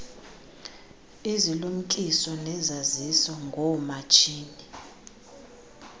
izilumkiso nezaziso ngoomatshini